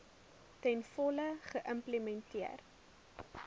ten volle geïmplementeer